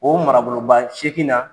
O maraboloba seegin na